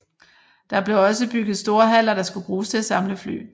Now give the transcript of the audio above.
Der blev også bygget store haller der skulle bruges til at samle fly